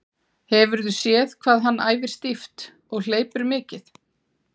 Hefurðu séð hvað hann æfir stíft og hleypur mikið?